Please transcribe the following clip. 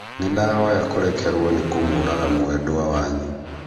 Nĩndahoya kũrekerwo nĩ kũmũraga mwendwa wanyu